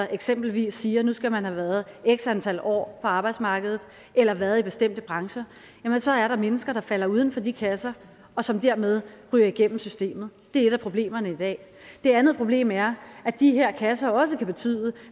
eksempelvis siger at nu skal man have været x antal år på arbejdsmarkedet eller været i bestemte brancher så er der mennesker der falder uden for de kasser og som dermed ryger igennem systemet det er et af problemerne i dag det andet problem er at de her kasser også kan betyde